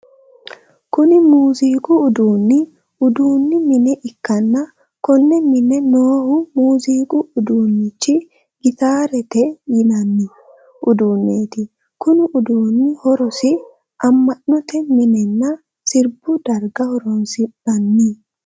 Kunni muuziiqu uduunni uduunni mine ikanna konne mine noohu muuziiqu uduunnichi gitaarete yinnanni uduuneeti. Konni uduunni horosi ama'note minenna sirbu darga horoonsi'nanni?